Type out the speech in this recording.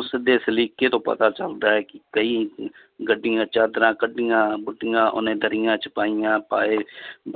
ਉਸਦੇ ਸਲੀਕੇ ਤੋਂ ਪਤਾ ਚੱਲਦਾ ਹੈ ਕਿ ਕਈ ਗੱਡੀਆਂ ਚਾਦਰਾਂ ਕੱਢੀਆਂ ਉਹਨੇ ਦਰੀਆਂ 'ਚ ਪਾਈਆਂ ਪਾਏ